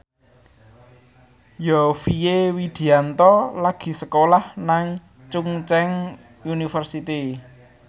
Yovie Widianto lagi sekolah nang Chungceong University